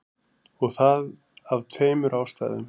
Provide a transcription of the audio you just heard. Og það af tveimur ástæðum.